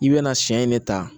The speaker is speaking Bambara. I bɛna siɲɛ in ne ta